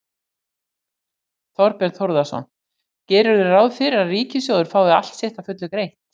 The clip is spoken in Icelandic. Þorbjörn Þórðarson: Gerirðu ráð fyrir að ríkissjóður fái allt sitt að fullu greitt?